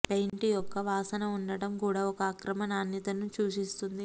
paint యొక్క వాసన ఉండటం కూడా ఒక అక్రమ నాణ్యతను సూచిస్తుంది